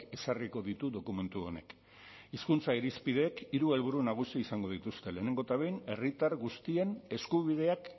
ezarriko ditu dokumentu honek hizkuntza irizpideek hiru helburu nagusi izango dituzte lehenengo eta behin herritar guztien eskubideak